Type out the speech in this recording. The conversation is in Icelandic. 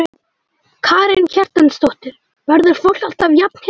Karen Kjartansdóttir: Verður fólk alltaf jafn hissa?